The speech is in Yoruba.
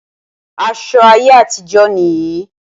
Aṣọ ayé àtijó nì yí.